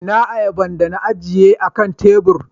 Ina ayaban da na ajiye akan tebur?